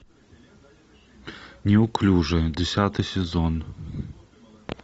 неуклюжие десятый сезон